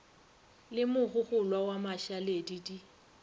le mogogolwa wa mašaledi di